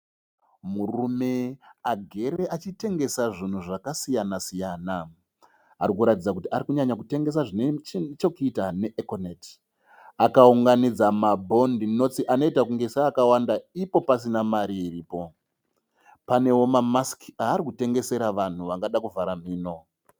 Murume agere achitengesa zvinhu zvakasiyana siyana. Arikuratidza kuti ari kunyanya kutengesa zvinechokuita ne ekoneti. Akaunganidza mabhodhi notisi anoita seakawanda ipo pasina mari iripo. Panewo mamasiki aari kutengeserwa vanhu vangada kuvhara nhino.